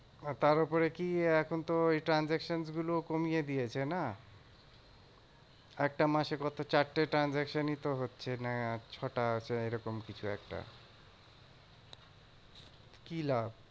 আর তার উপরে কি এখন তো ওই transaction গুলোও কমিয়ে দিয়েছে না। একটা মাসে কত চারটে transaction ই তো হচ্ছে না ছ টা আছে এরকম কিছু একটা। কি লাভ?